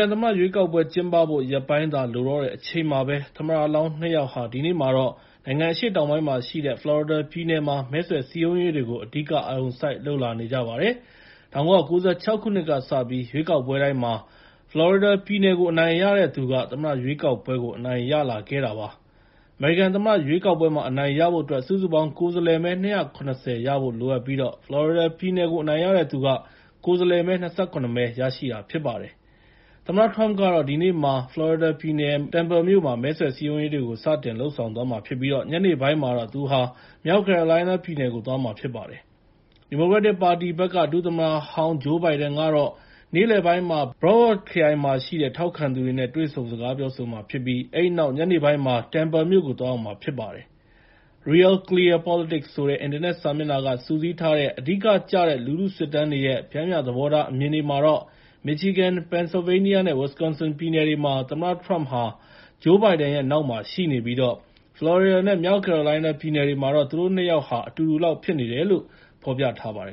န်သမ္မတရွေးကောက်ပွဲ ကျင်းပဖို့ ရက်ပိုင်းသာလိုတော့တဲ့အချိန်မှာပဲ သမ္မတလောင်း နှစ် ယောက်ဟာ ဒီနေ့မှာတော့ နိုင်ငံအရှေ့တောင်ပိုင်းမှာရှိတဲ့ ဖလော်ရီဒါပြည်နယ်မှာ မဲဆွယ်စည်းရုံးရေးတွေကို အဓိက အာရုံစိုက်လုပ်ဖို့ရှိနေကြပါတယ်။ ၁၉၉၆ ခုနှစ်ကစပြီး သမ္မတရွေးကောက်ပွဲတိုင်းမှာ ဖလော်ရီဒါပြည်နယ်ကို အနိုင်ရတဲ့သူက သမ္မတရွေးကောက်ပွဲကို အနိုင်ရလာခဲ့တာပါ။ အမေရိကန်သမ္မတရွေးကောက်ပွဲမှာ အနိုင်ရဖို့အတွက် စုစုပေါင်း ကိုယ်စားလှယ်မဲ ၂၇၀ ရဖို့လိုအပ်ပြီး ဖလော်ရီဒါပြည်နယ်ကို အနိုင်ရတဲ့သူက ကိုယ်စားလှယ်မဲ ၂၇ မဲ ရရှိတာဖြစ်ပါတယ်။ သမ္မတထရမ့်ကတော့ ဒီနေ့မှာ ဖလော်ရီဒါပြည်နယ် Tampa မြို့မှာ မဲဆွယ်စည်းရုံရေးတွေ စတင်လုပ်ဆောင်သွားမှာဖြစ်ပြီး ညနေပိုင်းမှာတော့ သူဟာ မြောက်ကယ်ရိုလိုင်းနားပြည်နယ်ကို သွားမှာဖြစ်ပါတယ်။ ဒီမိုကရက်တစ်သမ္မတလောင်း ဂျိုးဘိုင်ဒန်ကတော့ နေ့လယ်ပိုင်းမှာ Broward ခရိုင်မှာရှိတဲ့ ထောက်ခံသူတွေနဲ့ တွေ့ဆုံ စကားပြောဆိုမှာဖြစ်ပြီး အဲဒီနောက် ညနေပိုင်းမှာ Tampa မြို့ကို သွားရောက်မှာဖြစ်ပါတယ်။ Real Clear Politics ဆိုတဲ့ အင်တာနက်စာမျက်နှာက စုစည်းထားတဲ့ အဓိကကျတဲ့ လူထုစစ်တမ်းတွေကို ပ ျှမ်းမ ျှခြင်းချထားတာမှာတော့ Michigan, Pennsylvania နဲ့ Wisconsin ပြည်နယ်တွေမှာ သမ္မတထရမ့်ဟာ ဂျိုးဘိုင်ဒန် နောက်မှာရှိနေပြီး ဖလော်ရီဒါနဲ့ မြောက်ကယ်ရိုလိုင်းနားပြည်နယ်တွေမှာတော့ သူတို့ ၂ ယောက်ဟာ အတူတူလောက်ဖြစ်နေတယ်လို့ ပြောပါတယ